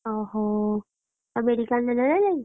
ଓହ! ଆଉ, medical ନେଲେ ନା ନାହିଁ?